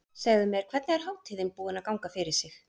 Segðu mér, hvernig er hátíðin búin að ganga fyrir sig?